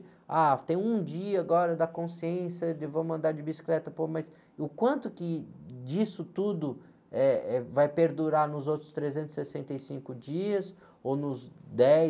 Ah, tem um dia agora da consciência de vamos andar de bicicleta, pô, mas o quanto que disso tudo, eh, eh, vai perdurar nos outros trezentos e sessenta e cinco dias ou nos dez